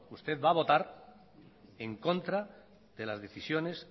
usted va a votar en contra de las decisiones